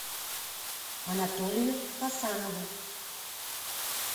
анатолию хасанову